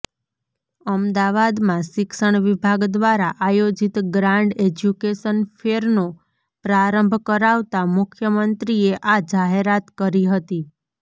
અમદાવાદમાં શિક્ષણ વિભાગ દ્વારા આયોજિત ગ્રાન્ડ એજ્યુકેશન ફેરનો પ્રારંભ કરાવતા મુખ્યમંત્રીએ આ જાહેરાત કરી હતી